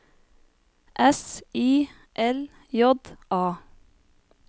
S I L J A